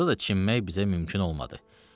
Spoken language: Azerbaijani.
Orda da çimmək bizə mümkün olmadı.